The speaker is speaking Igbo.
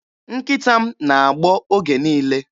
Nkịta m na-agbọ oge niile.